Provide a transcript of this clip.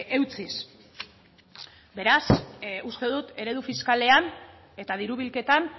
eutsiz beraz uste dut eredu fiskalean eta diru bilketan